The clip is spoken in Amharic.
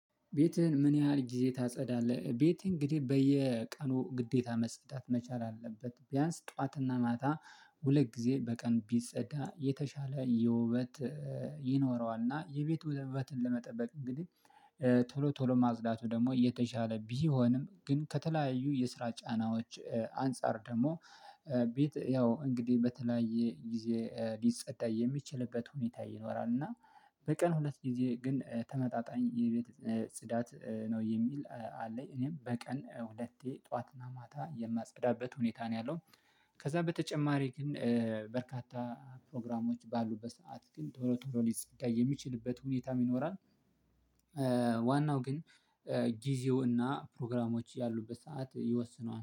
ቤትህን ምን ያህል ጊዜ ታጸዳለህ? ቤት እንግዲህ በየቀኑ ግዴታ መጸዳት መቻል አለበት ቢያንስ ጠዋትና ማታ ሁለት ጊዜ በቀን ቢጸዳ የተሻለ የውበት። ይኖረዋልና የቤት ወበትን ለመጠበቅ እንግዲህ ቶሎ ቶሎ ማጽዳቱ ደግሞ የተሻለ ቢሆንም ግን ከተለያዩ የስራ ጫናዎች አንፃር ደግሞ ቤት ያው እንግዲህ በተለያየ ጊዜ ሊፀዳ የሚችልበት ሁኔታ ይኖራል። እና በቀን ሁለት ጊዜ ግን ተመጣጣኝ የቤት ጽዳት ነው የሚል አለኝ እኔም በቀን ሁለቴ ጠዋትና ማታ የማጸዳበት ሁኔታ ነው ያለው። ከዛ በተጨማሪ ግን በርካታ ፕሮግራሞች ባሉበት ሰዓት ግን ቶሎ ቶሎ ሊጸዳ የሚችልበት ሁኔታ ይኖራል። ዋናው ግን ጊዜው እና ፕሮግራሞች ያሉበት ሰዓት ይወስነዋል